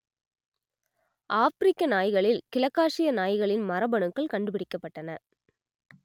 ஆப்பிரிக்க நாய்களில் கிழக்காசிய நாய்களின் மரபணுக்கள் கண்டுபிடிக்கப்பட்டன